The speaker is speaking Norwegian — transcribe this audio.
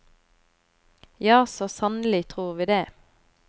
Ja, så sannelig tror vi det.